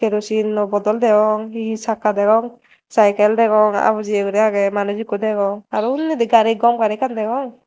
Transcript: kerosin no bodol degong hi hi sakka degong saikel degong abujeye guri age manuj ekko degong araw unni di gari gom gari ekkan degong.